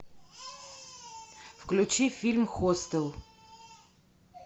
включи фильм хостел